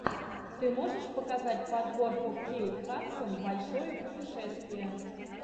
ты можешь показать подборку кейт хадсон большое путешествие